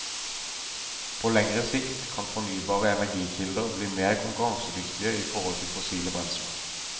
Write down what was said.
På lengre sikt kan fornybare energikilder bli mer konkurransedyktige i forhold til fossile brensler.